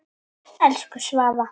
Elsku Svava.